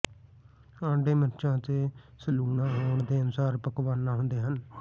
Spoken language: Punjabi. ਅੰਡੇ ਮਿਰਚਾਂ ਅਤੇ ਸਲੂਣਾ ਹੋਣ ਦੇ ਅਨੁਸਾਰ ਪਕਵਾਨਾ ਹੁੰਦੇ ਹਨ